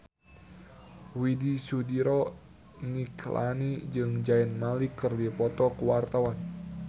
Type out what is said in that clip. Widy Soediro Nichlany jeung Zayn Malik keur dipoto ku wartawan